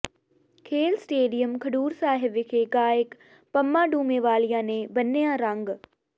ਖੇਡ ਸਟੇਡੀਅਮ ਖਡੂਰ ਸਾਹਿਬ ਵਿਖੇ ਗਾਇਕ ਪੰਮਾ ਡੂਮੇਵਾਲੀਆ ਨੇ ਬੰਨਿ੍ਹਆ ਰੰਗ